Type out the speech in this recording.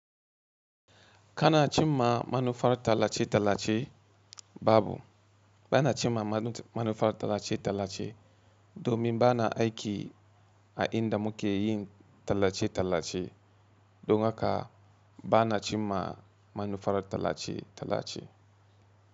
Kana cimma manufar tallace-tallace babu, bana cimma manufar tallace-tallace domin bana aiki a inda muke yin tallace-tallace, don haka bana cimma manufar tallace-tallace.